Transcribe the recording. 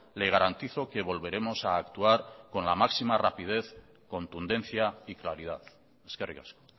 le garantizo que volveremos a actuar con la máxima rapidez contundencia y claridad eskerrik asko